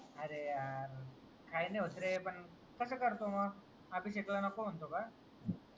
काय नाय होत रे कसा करतो मग अभिषेख ला नको म्हणतो का